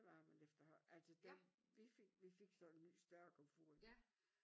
Varmen efter altså den vi fik vi fik så en ny større komfur